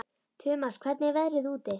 Tumas, hvernig er veðrið úti?